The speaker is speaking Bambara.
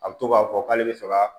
A bɛ to k'a fɔ k'ale bɛ fɛ ka